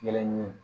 Yɛlɛ ni